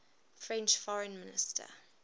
french foreign minister